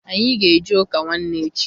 Anyị ga eje ụka nwanne echi.